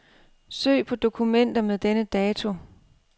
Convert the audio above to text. Søg på dokumenter med denne dato.